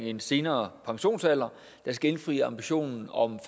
en senere pensionsalder der skal indfri ambitionen om